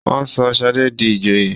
wón sọ Shade dì ìjòyè